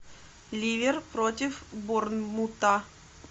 ливер против борнмута